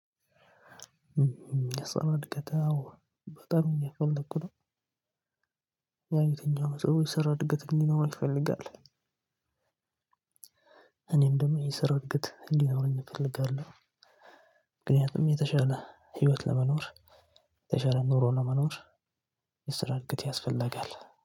የሰራ እድገት አዎ በጠሩኝ የፈለኩት ያን የትኛው ነው ሰር እድገት እንዲኖረው ነው ይፈልጋል። እኔም ደግሞ የስራ እድገት እንዲኖረኝ እፈልጋለሁ። ምክንያቱም የተሻለ ህይወት ለመኖር የተሻለ ኑሮ ለመኖር መኖር። የስራ እድገት ያስፈልጋል።